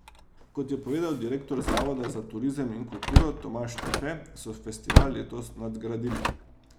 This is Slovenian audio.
Kot je povedal direktor zavoda za turizem in kulturo Tomaž Štefe, so festival letos nadgradili.